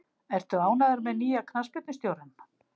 Ertu ánægður með nýja knattspyrnustjórann?